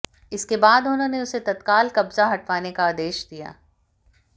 इसके बाद उन्होंने उसे तत्काल कब्जा हटवाने का आदेश दिया